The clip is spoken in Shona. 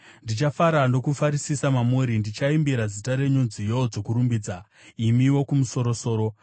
Ndichafara nokufarisisa mamuri; ndichaimbira zita renyu nziyo dzokurumbidza, imi Wokumusoro-soro.